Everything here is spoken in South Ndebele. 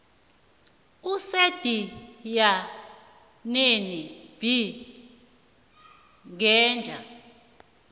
esendinyaneni b ngehla